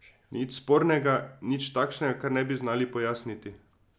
Nič spornega in nič takšnega kar ne bi znali pojasniti.